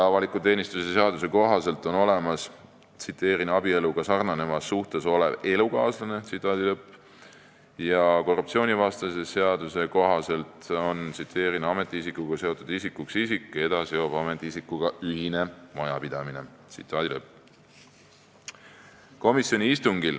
Avaliku teenistuse seaduse kohaselt on olemas abieluga sarnanevas suhtes olev elukaaslane ja korruptsioonivastase seaduse kohaselt loetakse ametiisikuga seotud isikuks isik, keda seob ametiisikuga ühine majapidamine.